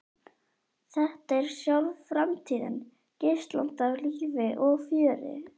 Þetta er sjálf framtíðin, geislandi af lífi og fjöri.